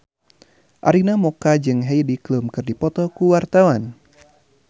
Arina Mocca jeung Heidi Klum keur dipoto ku wartawan